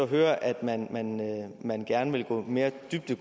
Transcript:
høre at man man gerne vil gå mere dybt